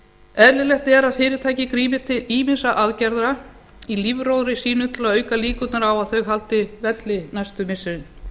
eðlilegt er að fyrirtæki grípi til ýmissa aðgerða í lífróðri sínum til að auka líkurnar á að þau haldi velli næstu missirin